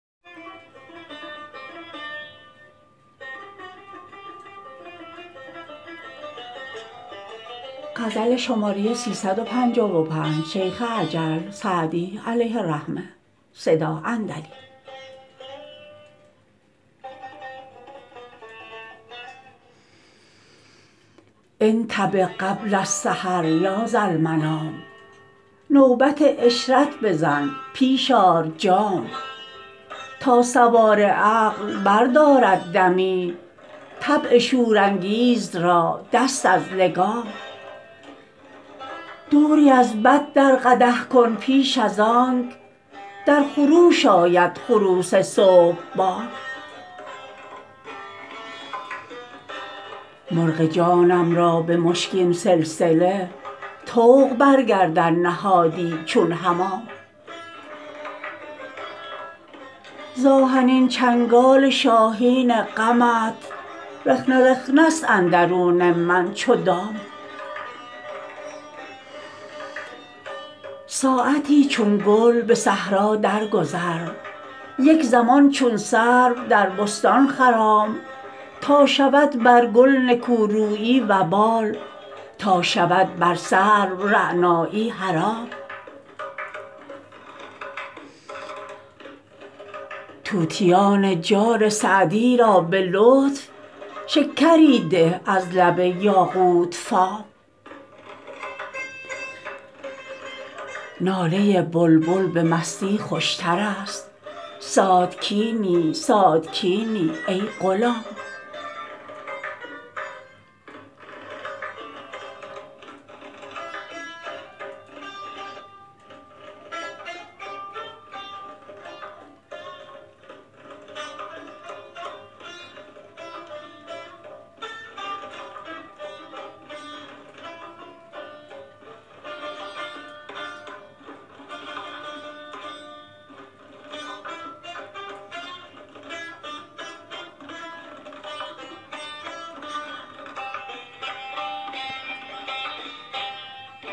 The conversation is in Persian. انتبه قبل السحر یا ذالمنام نوبت عشرت بزن پیش آر جام تا سوار عقل بردارد دمی طبع شورانگیز را دست از لگام دوری از بط در قدح کن پیش از آنک در خروش آید خروس صبح بام مرغ جانم را به مشکین سلسله طوق بر گردن نهادی چون حمام ز آهنین چنگال شاهین غمت رخنه رخنه ست اندرون من چو دام ساعتی چون گل به صحرا درگذر یک زمان چون سرو در بستان خرام تا شود بر گل نکورویی وبال تا شود بر سرو رعنایی حرام طوطیان جان سعدی را به لطف شکری ده از لب یاقوت فام ناله بلبل به مستی خوشتر است ساتکینی ساتکینی ای غلام